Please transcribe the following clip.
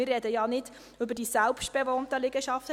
Wir sprechen ja nicht über die selbstbewohnten Liegenschaften.